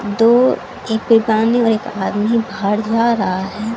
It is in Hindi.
दो एक है और एक आदमी बाहर जा रहा है।